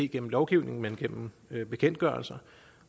gennem lovgivning men gennem bekendtgørelser